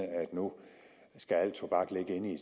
nu skal al tobak ligge inde i